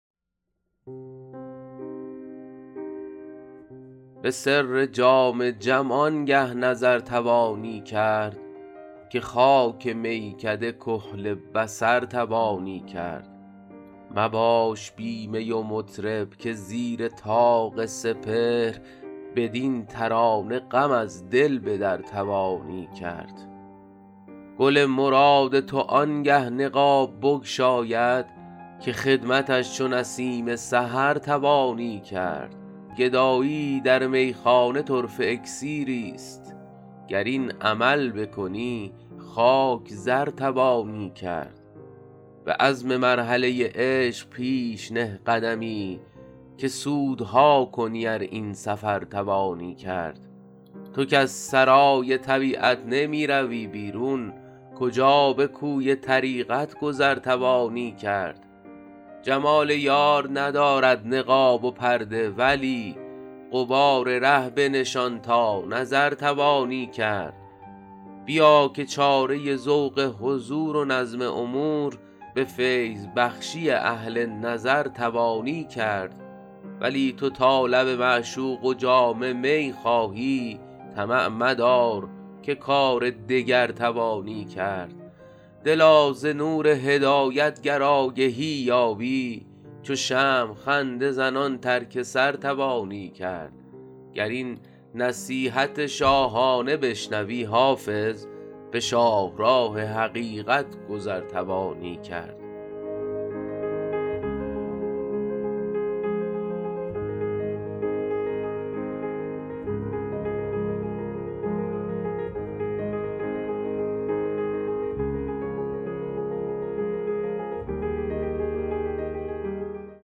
به سر جام جم آنگه نظر توانی کرد که خاک میکده کحل بصر توانی کرد مباش بی می و مطرب که زیر طاق سپهر بدین ترانه غم از دل به در توانی کرد گل مراد تو آنگه نقاب بگشاید که خدمتش چو نسیم سحر توانی کرد گدایی در میخانه طرفه اکسیریست گر این عمل بکنی خاک زر توانی کرد به عزم مرحله عشق پیش نه قدمی که سودها کنی ار این سفر توانی کرد تو کز سرای طبیعت نمی روی بیرون کجا به کوی طریقت گذر توانی کرد جمال یار ندارد نقاب و پرده ولی غبار ره بنشان تا نظر توانی کرد بیا که چاره ذوق حضور و نظم امور به فیض بخشی اهل نظر توانی کرد ولی تو تا لب معشوق و جام می خواهی طمع مدار که کار دگر توانی کرد دلا ز نور هدایت گر آگهی یابی چو شمع خنده زنان ترک سر توانی کرد گر این نصیحت شاهانه بشنوی حافظ به شاهراه حقیقت گذر توانی کرد